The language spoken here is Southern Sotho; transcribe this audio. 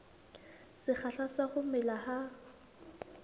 sekgahla sa ho mela ha